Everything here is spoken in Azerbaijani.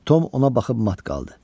Tom ona baxıb mat qaldı.